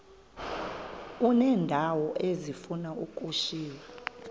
uneendawo ezifuna ukushiywa